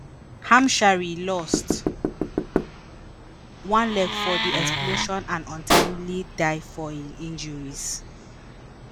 hamshari lost one leg for di explosion and ultimately die from im injuries